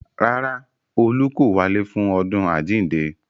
Rárá, olú kò wálé fún ọdún àjíǹde